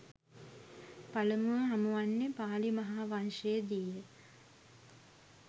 පළමුව හමුවන්නේ පාලි මහා වංශයේ දී ය.